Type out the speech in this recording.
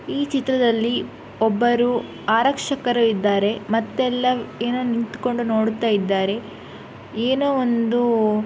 ಈ ಚಿತ್ರದಲ್ಲಿ ಒಬ್ಬರು ಆರಕ್ಷಕರು ಇದ್ದಾರೆ ಮತ್ತೆಲ್ಲ ಏನೋ ನಿಂತಕೊಡು ನೋಡುತ್ತಾ ಇದ್ದಾರೆ ಏನೋ ಒಂದು .